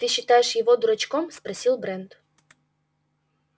ты считаешь его дурачком спросил брент